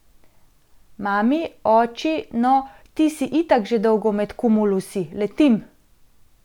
Mami, oči, no, ti si itak že dolgo med kumulusi, letim!